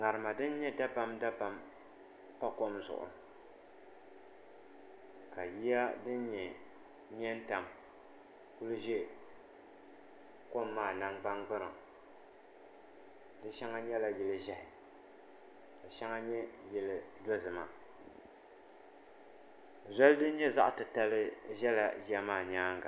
ŋarima din nyɛ dabam dabam n pa kom zuɣu ka yiya din nyɛ mɛ n tam kuli ʒɛ kom maa nangbani kpaŋa shɛŋa nyɛla yili ʒiɛhi ka shɛŋa nyɛ yili dozima zoli din nyɛ zaɣ titali ʒɛla yiya maa nyaanga